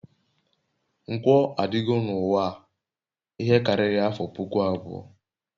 nkwo adịgo n'uwa a ihe karịrị afọ puku abụọ